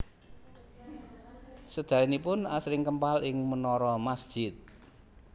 Sedayanipun asring kempal ing menara masjid